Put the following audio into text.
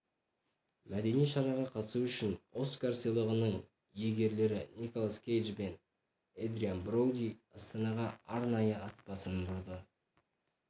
мәдени шараға қатысу үшін оскар сыйлығының иегерлері николас кейдж бен эдриан броуди астанағаарнайы ат басын бұрды